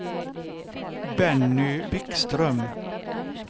Benny Wikström